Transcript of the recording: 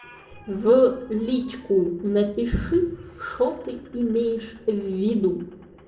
в личку напиши что ты имеешь в виду